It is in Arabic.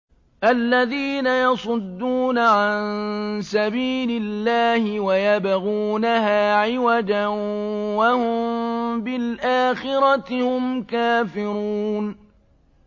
الَّذِينَ يَصُدُّونَ عَن سَبِيلِ اللَّهِ وَيَبْغُونَهَا عِوَجًا وَهُم بِالْآخِرَةِ هُمْ كَافِرُونَ